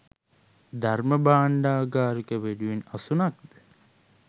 ධර්ම භාණ්ඩාගාරික වෙනුවෙන් අසුනක් ද